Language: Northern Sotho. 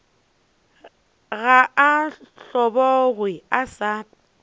ga a hlobogwe a sa